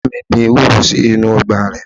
Ìyá mi gbin ewúro sínú Ọgbà rẹ̀